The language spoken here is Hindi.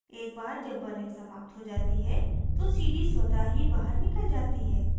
एक बार जब burning समाप्त हो जाती है तो cd स्वतः ही बाहर निकल जाती है